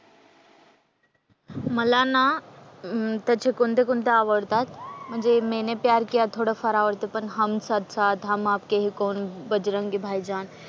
मला ना त्याचे कोणते कोणते आवडतात, म्हणजे मैंने प्यार किया थोडंफार आवडतो पण हम साथ साथ, हम आपके हैं कौन, बजरंगी भाईजान,